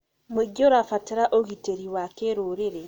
Mũingĩ ũrabatara ũgitĩri wa kĩrũrĩrĩ.